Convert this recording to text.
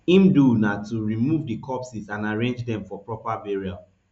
im do na to remove di corpses and arrange dem for proper burial